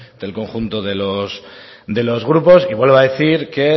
del conjunto de los grupos y vuelvo a decir que